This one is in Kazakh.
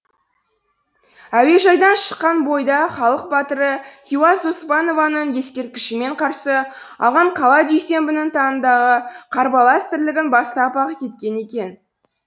әуежайдан шыққан бойда халық батыры хиуаз доспанованың ескерткішімен қарсы алған қала дүйсенбінің таңындағы қарбалас тірлігін бастап ақ кеткен екен